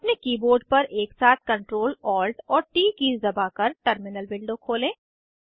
अपने कीबोर्ड पर एक साथ Ctrl Alt और ट कीज़ दबाकर टर्मिनल विंडो खोलें